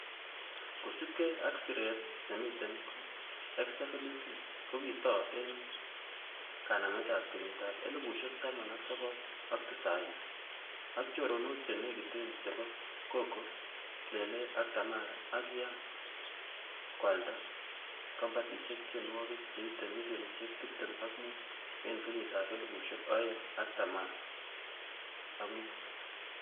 Kosiibge ak siret nemiten ko SWV ko kitou en kanametab kenyitab elfusiek taman ak sogol ak tisaini, ak choronok che nekiten chebo Coco, Lelee ak Tamara ak kian koalda kombatisiekab tiongwokik cheite milionisiek tibtem ak mut en kenyitab elfusiek oeng ak taman ak mut.